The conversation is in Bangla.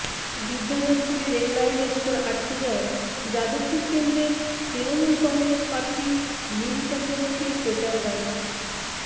বিদ্যাধরপুরে রেললাইনের উপর আটকে যায় যাদবপুর কেন্দ্রের তৄণমূল কংগ্রেস প্রার্থী মিমি চক্রবর্তীর প্রচার গাড়ি